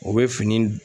O bɛ fini